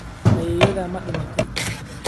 Ayeeyadaa ma dhimatay?